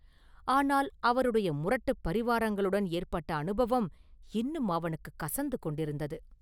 ஆனால் அவருடைய முரட்டுப் பரிவாரங்களுடன் ஏற்பட்ட அனுபவம் இன்னும் அவனுக்குக் கசந்து கொண்டிருந்தது.